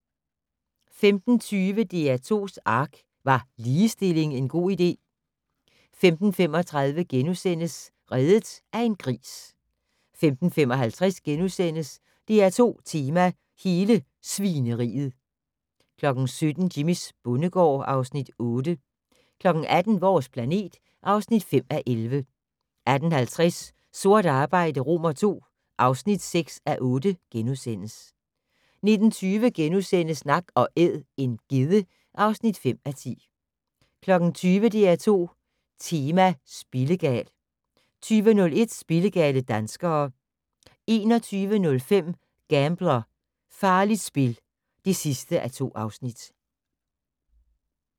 15:20: DR2's ARK - Var ligestilling en god idé? 15:35: Reddet af en gris * 15:55: DR2 Tema: Hele Svineriet * 17:00: Jimmys bondegård (Afs. 8) 18:00: Vores planet (5:11) 18:50: Sort arbejde II (6:8)* 19:20: Nak & Æd - en gedde (5:10)* 20:00: DR2 Tema: Spillegal 20:01: Spillegale danskere 21:05: Gambler: Farligt spil (2:2)